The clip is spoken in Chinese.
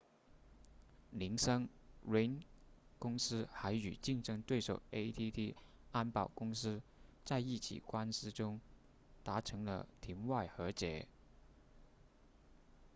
铃声 ring 公司还与竞争对手 adt 安保公司在一起官司中达成了庭外和解